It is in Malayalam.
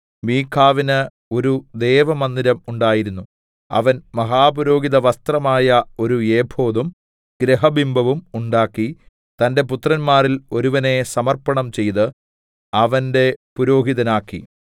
മീഖാവിന് ഒരു ദേവമന്ദിരം ഉണ്ടായിരുന്നു അവൻ മഹാപുരോഹിത വസ്ത്രമായ ഒരു ഏഫോദും ഗൃഹബിംബവും ഉണ്ടാക്കി തന്റെ പുത്രന്മാരിൽ ഒരുവനെ സമർപ്പണം ചെയ്ത് അവന്റെ പുരോഹിതനാക്കി